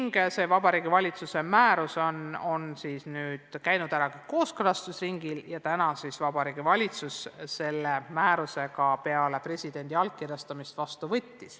Vastav Vabariigi Valitsuse määrus on nüüd läbinud kooskõlastusringi ja täna võttis Vabariigi Valitsus selle määruse peale presidendi allkirjastamist ka vastu.